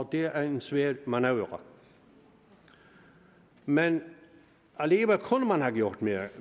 det er en svær manøvre men alligevel kunne man have gjort mere jeg